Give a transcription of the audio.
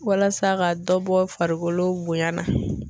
Walasa ka dɔ bɔ farikolo bonya na.